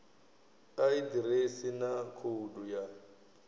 a ḓiresi na khoudu ya